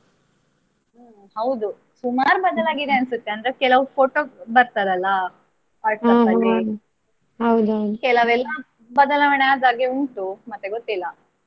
ಹಾ ಹೌದು ಸುಮಾರ್ ಬದಲಾಗಿದೆ ಅನ್ಸುತ್ತೆ ಕೆಲವು photo ಬರ್ತದಲ್ಲ WhatsApp ಅಲ್ಲಿ ಕೆಲವೆಲ್ಲ ಬದಲಾವಣೆ ಆದ ಹಾಗೆ ಉಂಟು ಮತ್ತೆ ಗೊತ್ತಿಲ್ಲ.